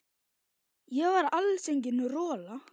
Ég var alls engin rola.